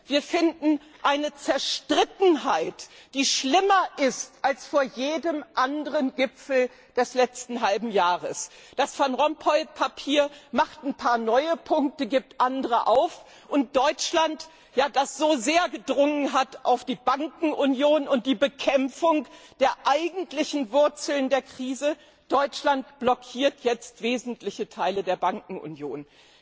Wir finden eine Zerstrittenheit, die schlimmer ist als vor jedem anderen Gipfel des letzten halben Jahres. Das Van Rompuy Papier setzt ein paar neue Punkte, gibt andere auf, und Deutschland, ja, das so sehr auf der Bankenunion und der Bekämpfung der eigentlichen Wurzeln der Krise bestanden hatte, blockiert jetzt wesentliche Teile der Bankenunion.